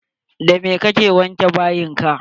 Da me ka ke wanke bayin ka?